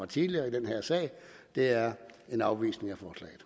tidligere i den her sag det er en afvisning